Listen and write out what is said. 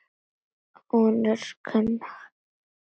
Hún er gapandi af undrun.